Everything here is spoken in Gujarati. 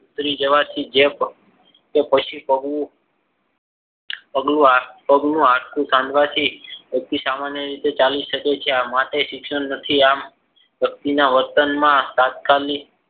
ઉતરી જવાથી તો પછી કહું પગનું પગનું હાડકું ભાગવાથી વ્યક્તિ સામાન્ય રીતે ચાલી શકે છે. આ માટે જ શિક્ષણ નથી. આમ વ્યક્તિના વર્તનમાં તાત્કાલિક